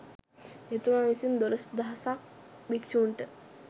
එතුමා විසින් දොළොස් දහසක් භික්‍ෂූන්ට